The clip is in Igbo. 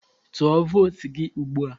Tụọ vootu gị ugbua!